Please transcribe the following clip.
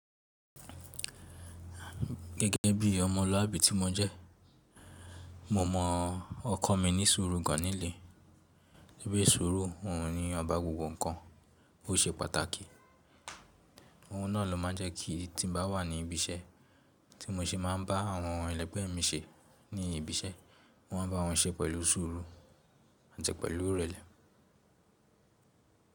Gẹ́gẹ́ bí ọmọlúwàbí tí mo jẹ́, mo mọ wọn kọ mi ní sùúrù gan nilẹ. Bi sùúrù òhun ni ọba gbogbo nkan, o se pàtàkì. Ohun náà ló máa n jẹ ki tí mo bá wà ní ibi iṣẹ́, tí mo ṣe máa n bá àwọn ẹlẹgbẹ́ mi se ní ibi iṣẹ́, mo máa n ba wọn se pẹlu sùúrù àti pẹlu ìrẹ̀lẹ̀